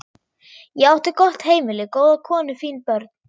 Ég átti gott heimili, góða konu, fín börn.